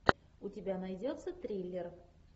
у тебя найдется триллер